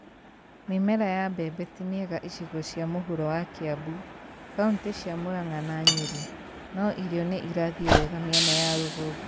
Mĩmera ya mbeme ti mĩega icigo cia mũhuro wa Kaimbu , kauntĩ cia Murang’a na Nyeri; no irio nĩ irathiĩ wega mĩena ya rũgongo